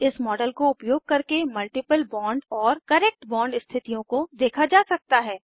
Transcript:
इस मॉडल को उपयोग करके मल्टीपल बॉन्ड और करेक्ट बॉन्ड स्थितियों को देखे जा सकते हैं